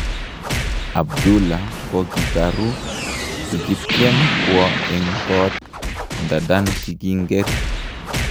Abdullah kikokaru, kikityem kwo en kot, ndadan kikinger.